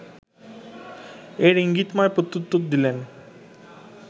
এর ‘ইঙ্গিতময় প্রত্যুত্তর’ দিলেন